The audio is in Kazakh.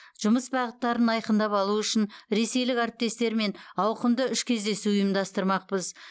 жұмыс бағыттарын айқындап алу үшін ресейлік әріптестермен ауқымды үш кездесу ұйымдастырмақпыз